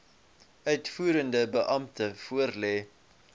uitvoerende beampte voorlê